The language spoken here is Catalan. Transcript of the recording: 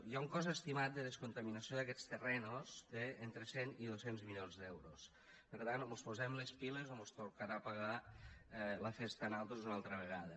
hi ha un cost estimat de descontaminació d’aquests terrenys d’entre cent i dos cents milions d’euros per tant o mos posem les piles o mos tocarà pagar la festa a nosaltres una altra vegada